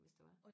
hvis det var